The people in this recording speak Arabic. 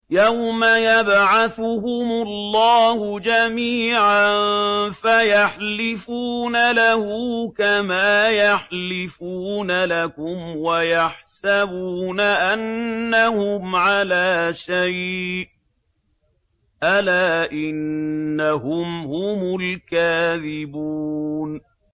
يَوْمَ يَبْعَثُهُمُ اللَّهُ جَمِيعًا فَيَحْلِفُونَ لَهُ كَمَا يَحْلِفُونَ لَكُمْ ۖ وَيَحْسَبُونَ أَنَّهُمْ عَلَىٰ شَيْءٍ ۚ أَلَا إِنَّهُمْ هُمُ الْكَاذِبُونَ